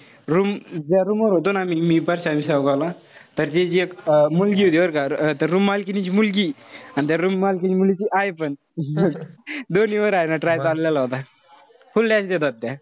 Room ज्या room वर होतो ना आम्ही मी, परश्या अन ला. तर ते जे एक मुलगी होती बरं का. अं तर room मालकिणीची मुलगी. अन त्या room मालकिणीची आई पण. दोन्ही वर हाये ना try चाललेला होता. full dash देतात त्या.